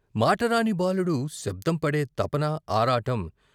మాటరాని బాలుడు శబ్దం పడే తపన ఆరాటం.